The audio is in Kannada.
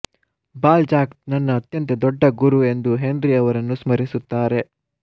ಬಾಲ್ಜಾಕ್ ನನ್ನ ಅತ್ಯಂತ ದೊಡ್ಡ ಗುರು ಎಂದು ಹೆನ್ರಿ ಅವರನ್ನು ಸ್ಮರಿಸುತ್ತಾರೆ